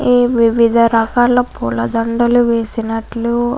ఈ వివిధ రకాల పులా దండల్లు వేసినట్లు --